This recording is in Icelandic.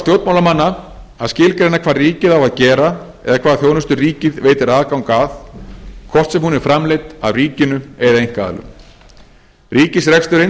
stjórnmálamanna að skilgreina hvað ríkið á að gera eða hvaða þjónustu ríkið veitir aðgang að hvort sem hún er framleidd af ríkinu eða einkaaðilum ríkisreksturinn þarf því að